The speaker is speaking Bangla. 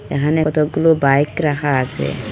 এখানে কতগুলো বাইক রাখা আসে।